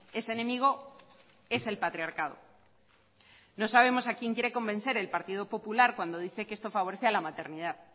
ese enemigo es el patriarcado no sabemos a quién quiere convencer el partido popular cuando dice que esto favorece a la maternidad